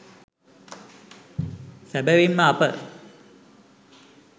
සැබැවින්ම අප